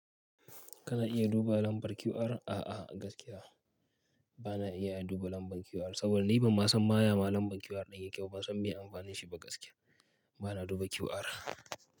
Kana iya duba lambar QR? A'a gaskiya bana iya duba lambar QR, saboda ni ban ma san ma ya ma lambar QR ɗin yake ba, ban san me amfanin shi ba gaskiya. Bana duba QR.